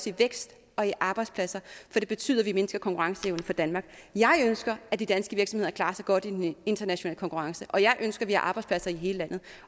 i vækst og i arbejdspladser for det betyder at vi mindsker konkurrenceevnen for danmark jeg ønsker at de danske virksomheder klarer sig godt i den internationale konkurrence og jeg ønsker at vi har arbejdspladser i hele